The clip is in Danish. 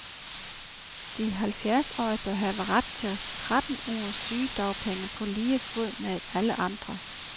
De halvfjerdsårige bør have ret til tretten ugers sygedagpenge på lige fod med alle andre.